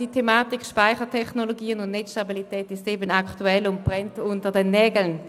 Die Thematiken Speichertechnologien und Netzstabilität sind eben aktuell und brennen unter den Nägeln.